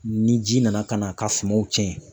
Ni ji nana ka n'a ka sumanw tiɲɛ